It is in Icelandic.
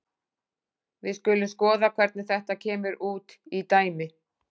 Við skulum skoða hvernig þetta kemur út í dæmi.